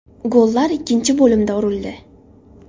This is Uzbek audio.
Gollar ikkinchi bo‘limda urildi.